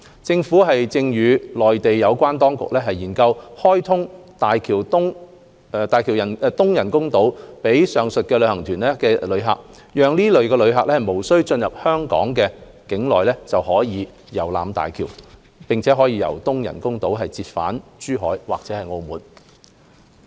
政府正與內地有關當局研究開通大橋東人工島予上述旅行團遊客，讓這類旅客無需進入香港特區境內就可遊覽大橋，並從東人工島折返珠海或澳門。